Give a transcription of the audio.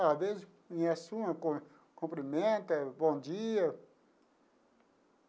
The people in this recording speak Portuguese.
Às vezes, conhece uma, cum cumprimenta, bom dia.